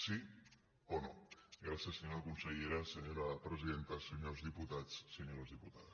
sí o no gràcies senyora consellera senyora presidenta senyors diputats senyores diputades